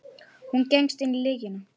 Hún gengst inn á lygina.